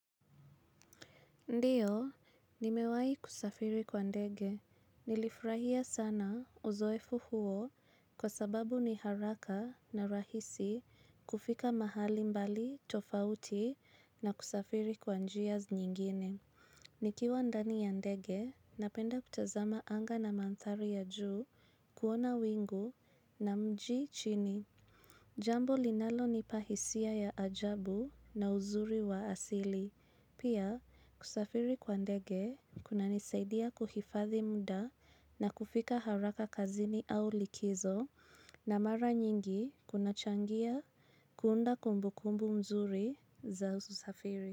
Ndiyo, nimewahi kusafiri kwa ndege. Nilifurahia sana uzoefu huo kwa sababu ni haraka na rahisi kufika mahali mbali tofauti na kusafiri kwa njia zi nyingine. Nikiwa ndani ya ndege, napenda kutazama anga na mandhari ya juu kuona wingu na mji chini. Japo linalonipa hisia ya ajabu na uzuri wa asili pia, kusafiri kwa ndege, kunanisaidia kuhifadhi muda na kufika haraka kazini au likizo na mara nyingi kuna changia kuunda kumbukumbu nzuri za usafiri.